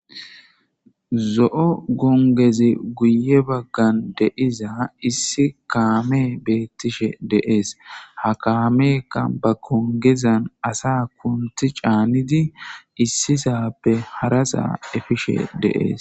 zo7o gongezi guye baggan deiza issi kaame beettishe deees ha kaameea ba kongezan asa kunti caanidi issisappe harasaa efishe deees